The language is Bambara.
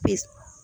Pes